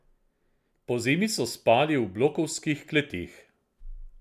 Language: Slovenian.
Pozimi so spali v blokovskih kleteh.